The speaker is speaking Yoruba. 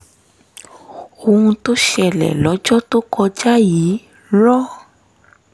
ohun tó ṣẹlẹ̀ lọ́jọ́ tó kọjá yìí rán